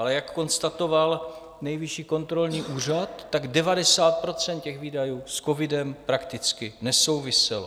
Ale jak konstatoval Nejvyšší kontrolní úřad, 90 % těch výdajů s covidem prakticky nesouviselo.